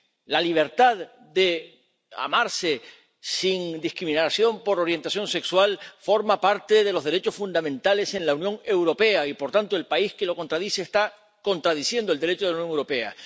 La libertad de amarse sin discriminación por orientación sexual forma parte de los derechos fundamentales en la Unión Europea y, por tanto, el país que contradice esto está contradiciendo el Derecho de la Unión Europea.